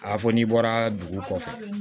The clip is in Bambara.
A fɔ n'i bɔra dugu kɔfɛ